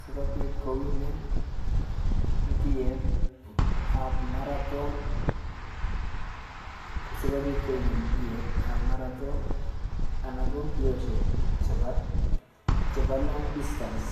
sikobit kowinen mbiyet ab marathon sikobit kowinen mbiyetab marathon anan kombiosiek chebo long distance